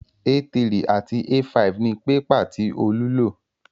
A3 àti A5 ni pépà tí Olú lò